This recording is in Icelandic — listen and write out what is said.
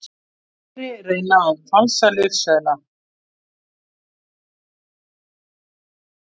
Fleiri reyna að falsa lyfseðla